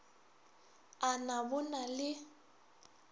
a na bo na le